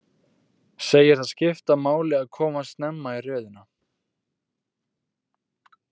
Segir það skipta máli að komast snemma í röðina.